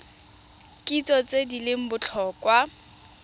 kitso tse di leng botlhokwa